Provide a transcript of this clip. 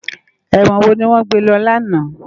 Èwòn wó niwòn gbé lò làná?